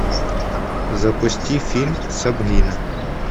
запусти фильм сабрина